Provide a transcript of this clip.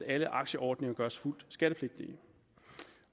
alle aktieordninger gøres fuldt skattepligtige